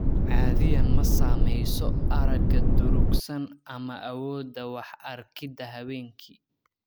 Caadiyan ma saamayso aragga durugsan ama awoodda wax arkidda habeenkii.